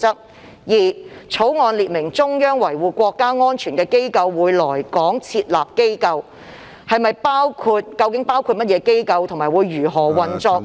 第二，《決定》列明中央維護國家安全的機構會來港設立機構，究竟包括甚麼機關及如何運作？